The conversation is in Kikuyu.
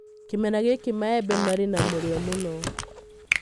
Kĩmera gĩkĩ maembe marĩ na mũrio mũno.